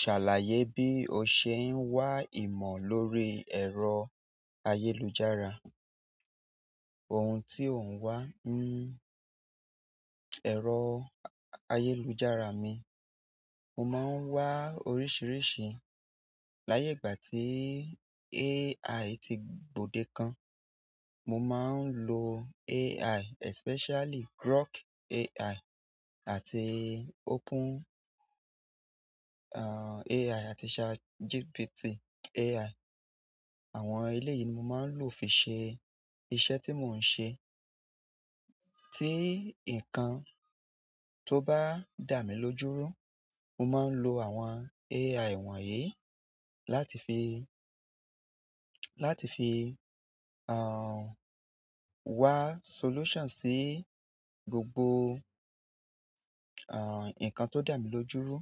Ṣàlàyé bí o ṣe ń wá ìmọ̀ lórí ẹ̀rọ ayélujára. Ohun tí ò ń wá ń, ẹ̀rọ ayélujára mi, mo máa ń wá oríṣìíríṣìí. Láyé ìgbà tí AI ti gbòde kan, mo máa ń lo AI especially Grok AI àti Open, uh, AI àti ChatGPT AI. Àwọn ilé yìí ni mo máa ń lò fi ṣe iṣẹ́ tí mò ń ṣe. Tí ǹkan tó bá dà mí lójú rú, mo máa ń lo àwọn AI wọ̀nyí láti fi, láti fi, uh, wá solution sí gbogbo, uh, nǹkan tó dà mí lójú ru.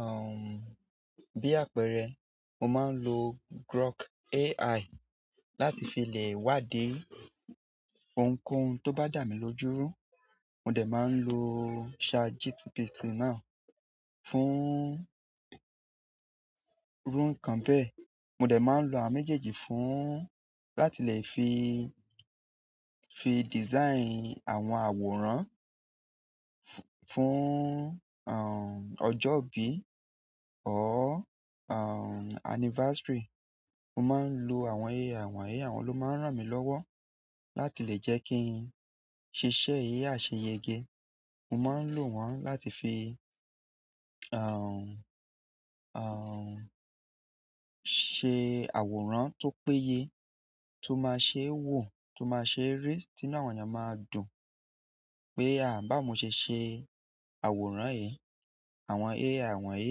Uh, bí àpẹẹrẹ, mo máa ń lo Grok AI láti fi le wádìí ohunkóhun tó bá dà mí lójú rú. Mo dẹ̀ máa ń lo ChatGPT náà fún irú nǹkan bẹ́ẹ̀. Mo dẹ̀ máa ń lo àwọn méjèèjì fún láti lè fi, fi design àwọn àwòrán fún, uh, ọjọ́ ìbí or uhn anniversary. Mo máa ń lo àwọn AI wọ̀nyí, àwọn ló máa ń ràn mí lọ́wọ́ láti lè jẹ́ kí n ṣiṣẹ́ yì àsẹ̀yẹgé. Mo máa ń lò wọ́n láti fi, uh, uh, ṣe àwòrán tó péye, tó máa ṣe wò, tó máa ṣe rí tí inú àwọn èèyàn maa dùn pé a báwo mo ṣe ṣe àwòrán yíi. Àwọn AI wọ̀nyí,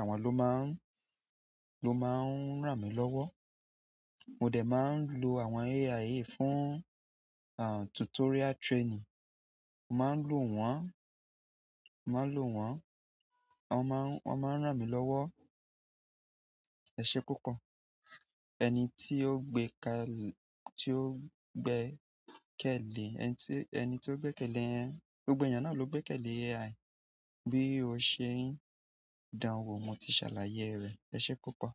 àwọn ló máa ń, ló máa ń ràn mí lọ́wọ́. Mo de maa n lo àwọn AI yìí fún uhn tutorial training. Mo máa ń lò wọ́n, mo máa ń lò wọ́n, wọ́n máa ń, wọ́n máa ń ràn mí lọ́wọ́. Ẹse púpọ̀. Ẹni tí ó gbé ka- tí ó gbe kẹ̀lé, ẹni tí, ẹni tí ó gbé kẹ̀lé yẹn, gbogbo èèyàn náà ló gbé kẹ̀lé AI. Bí o ṣe ń dáwọ́, mo ti ṣàlàyé rẹ̀. Ẹse púpọ̀.